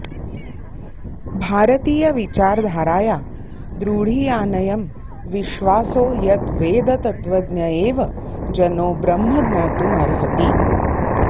भारतीयविचारधाराया द्रढीयानयं विश्वासो यद्वेदतत्त्वज्ञ एव जनो ब्रह्म ज्ञातुमर्हति